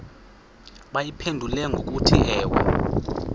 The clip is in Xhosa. bayiphendule ngokuthi ewe